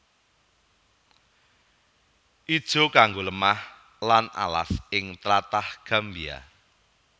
Ijo kanggo lemah lan alas ing tlatah Gambia